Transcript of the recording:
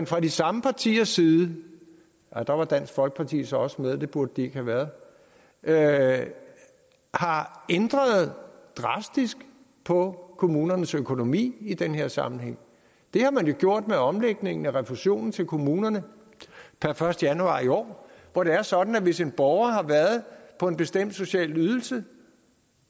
fra de samme partiers side der var dansk folkeparti så også med det burde de ikke have været er er ændret drastisk på kommunernes økonomi i den her sammenhæng det har man jo gjort med omlægningen af refusionen til kommunerne per første januar i år hvor det er sådan at hvis en borger har været på en bestemt social ydelse